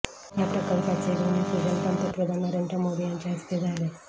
या प्रकल्पाचे भुमिपूजन पंतप्रधन नरेंद्र मोदी यांच्या हस्ते झाले